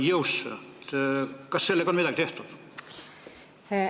Kas selles valdkonnas on midagi tehtud?